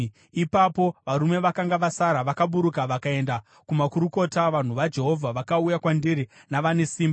“Ipapo varume vakanga vasara vakaburuka vakaenda kumakurukota; vanhu vaJehovha vakauya kwandiri navane simba.